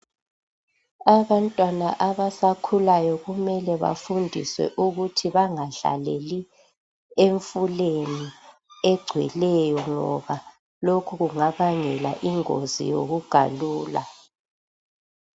Abantwana abasakhulayo kumele bafundiswe ukuthi bangadlaleli emfuleni egcweleyo ngoba lokhu kungabangela ingozi yokugalula.